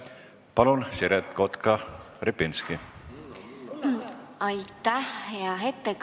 Palun, Siret Kotka-Repinski!